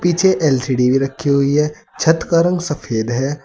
नीचे एल_सी_डी भी रखी हुई है छत का रंग सफेद है।